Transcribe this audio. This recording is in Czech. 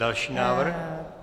Další návrh.